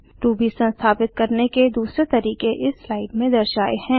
Ruby संस्थापित करने के दूसरे तरीके इस स्लाइड में दर्शाए हैं